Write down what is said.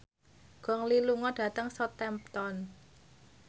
Gong Li lunga dhateng Southampton